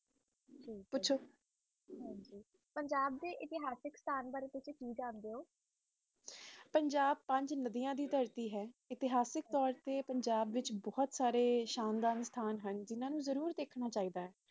ਪੁਛੋ ਪੰਜਾਬ ਦੇ ਇਤਿਹਾਸਿਕ ਬਾਰੇ ਤੁਸੀ ਕਿ ਜਾਂਦੇ ਹੋ ਪੰਜਾਬ ਪੰਜ ਨਦੀਆ ਦੀ ਧਰਤੀ ਹੈ ਇਤਿਹਾਸਿਕ ਪੰਜਾਬ ਵਿਚ ਬੋਹਤ ਸੰਥਾਂ ਹੁਣ ਜਿਨ੍ਹਾਂ ਨੂੰ ਜ਼ਰੂਰ ਦੇਖਣਾ ਚਾਹੀਏ ਦਾ